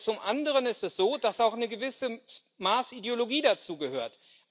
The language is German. Zum anderen ist es so, dass auch ein gewisses Maß Ideologie dazugehört.